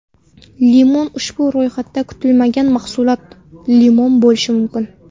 Limon Ushbu ro‘yxatda kutilmagan mahsulot limon bo‘lishi mumkin.